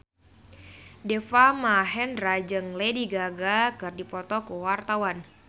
Deva Mahendra jeung Lady Gaga keur dipoto ku wartawan